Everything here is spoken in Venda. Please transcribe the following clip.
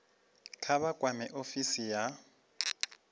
kha vha kwame ofisi ya